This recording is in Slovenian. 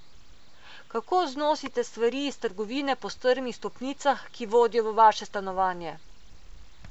Kako znosite stvari iz trgovine po strmih stopnicah, ki vodijo v vaše stanovanje?